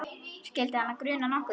Skyldi hana gruna nokkuð?